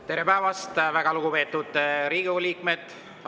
Tere päevast, väga lugupeetud Riigikogu liikmed!